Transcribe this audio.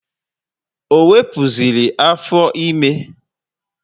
Ọ wepụziri afọ ime?